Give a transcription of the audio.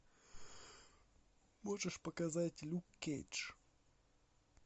можешь показать люк кейдж